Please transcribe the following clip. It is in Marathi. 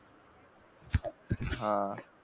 हा